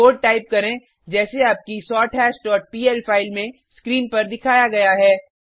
code type करें जैसे आपकी सोरथाश डॉट पीएल फाइल में स्क्रीन पर दिखाया गया है